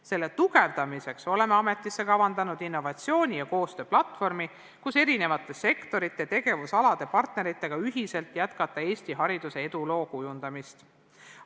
Selle tugevdamiseks oleme ametisse kavandanud innovatsiooni- ja koostööplatvormi, et eri sektorite ja tegevusalade partneritega ühiselt jätkata Eesti hariduse eduloo kujundamist.